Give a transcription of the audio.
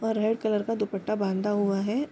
और red colour का दुपट्टा बांधा हुआ है।